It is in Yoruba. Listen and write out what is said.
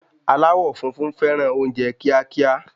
Alawọ funfun fẹràn oúnjẹ kiakia